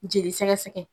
Jeli sɛgɛ sɛgɛ